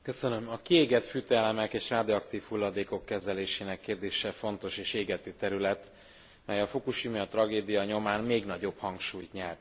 A kiégett fűtőelemek és radioaktív hulladékok kezelésének kérdése fontos és égető terület, mely a fukusimai tragédia nyomán még nagyobb hangsúlyt nyert.